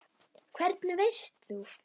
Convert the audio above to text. Hvernig veist þú.?